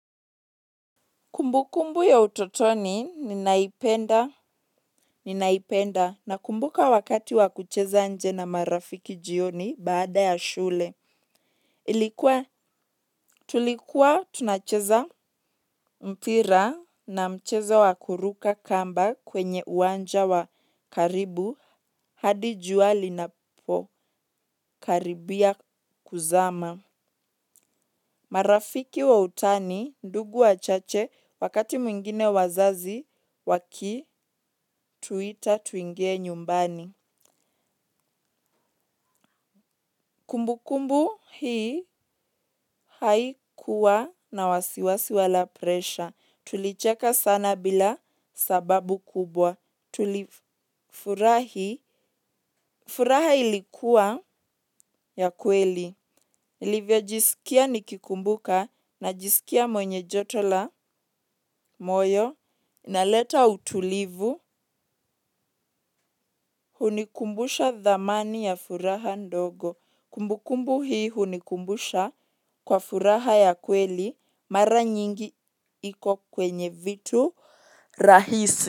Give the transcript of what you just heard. Kumbukumbu ya utotoni ninaipenda, na kumbuka wakati wa kucheza nje na marafiki jioni baada ya shule. Tulikuwa tunacheza mpira na mchezo wa kuruka kamba kwenye uwanja wa karibu hadi jua linapokaribia kuzama. Marafiki wa utani, ndugu wa chache, wakati mwingine wazazi, waki tuita tuingie nyumbani. Kumbukumbu hii haikuwa na wasiwasi wala presha. Tulicheka sana bila sababu kubwa. Tulifurahi, furaha ilikuwa ya kweli. Nilivyo jisikia nikikumbuka, najisikia mwenye joto la moyo, inaleta utulivu hunikumbusha dhamani ya furaha ndogo. Kumbukumbu hii hunikumbusha kwa furaha ya kweli mara nyingi iko kwenye vitu rahisi.